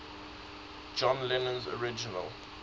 john lennon's original